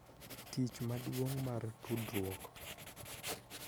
Tich maduong' mar tudruok